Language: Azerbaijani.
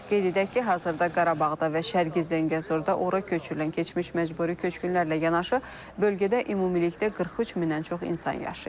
Qeyd edək ki, hazırda Qarabağda və Şərqi Zəngəzurda ora köçürülən keçmiş məcburi köçkünlərlə yanaşı bölgədə ümumilikdə 43 mindən çox insan yaşayır.